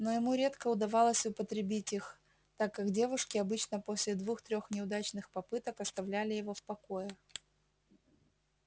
но ему редко удавалось употребить их так как девушки обычно после двух-трех неудачных попыток оставляли его в покое